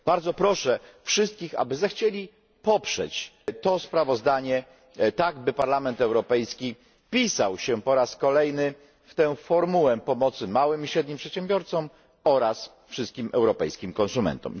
Bardzo proszę wszystkich, aby zechcieli poprzeć to sprawozdanie tak, by Parlament Europejski wpisał się po raz kolejny w tę formułę pomocy małym i średnim przedsiębiorstwom oraz wszystkim europejskim konsumentom.